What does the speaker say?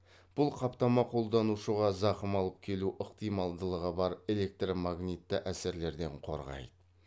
бұл қаптама қолданушыға зақым алып келу ықтималдылығы бар электромагнитті әсерлерден қорғайды